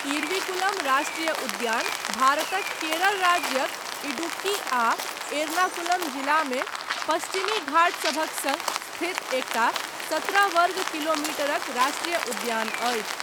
इरविकुलम राष्ट्रीय उद्यान भारतक केरल राज्यक इडुक्की आ एर्नाकुलम जिलामे पश्चिमी घाट सभक सङ्ग स्थित एकटा सत्रह वर्ग किलोमीटरक राष्ट्रीय उद्यान अछि।